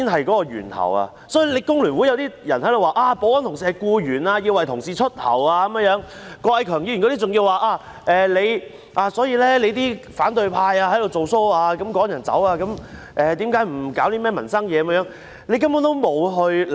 所以，香港工會聯合會的一些人說保安同事是僱員、要代同事出頭等，郭偉强議員等人還說反對派在"做 Show"， 以致被人趕走、為何不處理民生問題等。